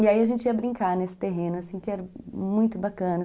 E aí a gente ia brincar nesse terreno, assim, que era muito bacana.